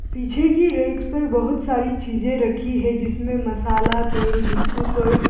पीछे की रेक्स पर बहुत सारी चीजें रखी है जिसमें मसाला तेल बिस्कुट और--